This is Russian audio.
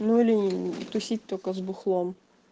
ну или тусить только с бухлом